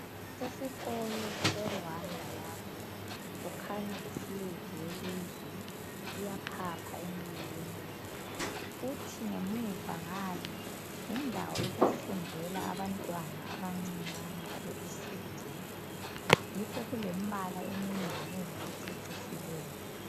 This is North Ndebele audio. Isikolo seRwanda lapha, kukhanya i flag yelizwe iyaphapha emoyeni, kuthi ngemuva ngale yindawo yokufundela abantwana abancinyane abe ECD. Yikho kulembala eminenginengi ececisileyo.